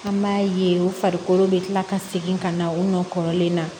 An b'a ye u farikolo bɛ kila ka segin ka na u nɔ kɔrɔlen na